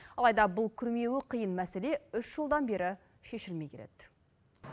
алайда бұл күрмеуі қиын мәселе үш жылдан бері шешілмей келеді